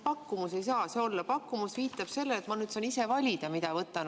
Pakkumus ei saa see olla, "pakkumus" viitab sellele, et ma saan ise valida, mida võtan.